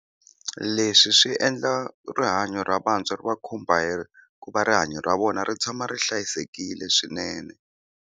Leswi swi endla rihanyo ra vantshwa ri va khumba hi ku va rihanyo ra vona ri tshama ri hlayisekile swinene.